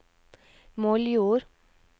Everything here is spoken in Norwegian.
Moldjord